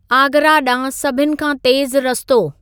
आगरा ॾांहुं अभिनी खां तेज़ु रस्तो